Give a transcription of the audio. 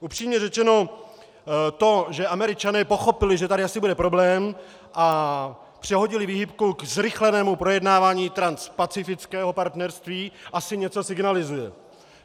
Upřímně řečeno to, že Američané pochopili, že tady asi bude problém, a přehodili výhybku ke zrychlenému projednávání Transpacifického partnerství, asi něco signalizuje.